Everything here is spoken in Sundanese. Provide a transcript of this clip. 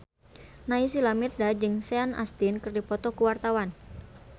Naysila Mirdad jeung Sean Astin keur dipoto ku wartawan